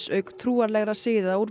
auk trúarlegra siða úr